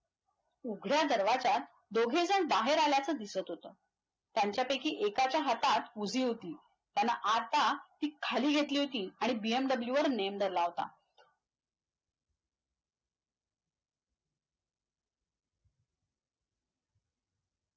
उघड्या दरवाज्यात दोघेजण बाहेर आल्याच दिसत होत. त्यांच्यापैकी एकाच्या हातात उजी होती. त्याने आता ती खाली घेतली होती आणि BMW वर नेम धरला होता.